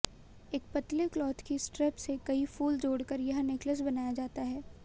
एक पतले क्लॉथ की स्ट्रेप से कई फूल जोड़कर यह नेकलेस बनाया जाता है